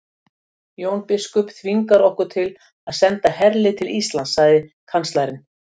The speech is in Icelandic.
Jón biskup þvingar okkur til að senda herlið til Íslands, sagði kanslarinn.